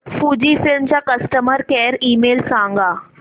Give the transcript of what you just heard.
Fujifilm चा customer care email सांगा